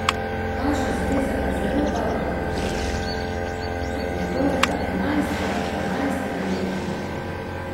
Naša zveza ga zelo dobro podpira od njegovega enajstega, dvanajstega leta naprej.